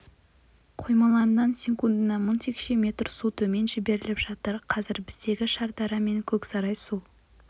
қоймаларынан секундына мың текше метр су төмен жіберіліп жатыр қазір біздегі шардара мен көксарай су